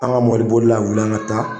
An ka mɔbiri bolila wuli an ka taa.